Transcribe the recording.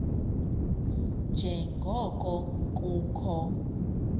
nje ngoko kukho